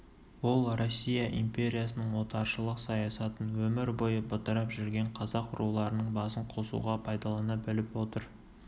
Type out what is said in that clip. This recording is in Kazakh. ол россия империясының отаршылық саясатын өмір бойы бытырап жүрген қазақ руларының басын қосуға пайдалана біліп отыр